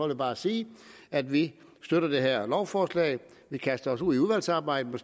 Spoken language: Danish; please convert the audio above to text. jeg bare sige at vi støtter det her lovforslag vi kaster os ud i udvalgsarbejdet